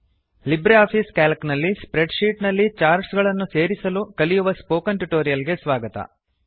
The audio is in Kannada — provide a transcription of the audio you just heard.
ಲಿಬ್ರಿಆಫಿಸ್ ಸಿಎಎಲ್ಸಿ ನಲ್ಲಿ ಸ್ಪ್ರೆಡ್ ಶೀಟ್ ನಲ್ಲಿ ಚಾರ್ಟ್ ಗಳನ್ನು ಸೇರಿಸಲು ಕಲಿಯುವ ಸ್ಪೋಕನ್ ಟ್ಯುಟೋರಿಯಲ್ ಗೆ ಸ್ವಾಗತ